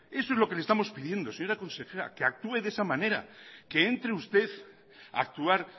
eso es lo que le estamos pidiendo señora consejera que actúe de esa manera que entre usted a actuar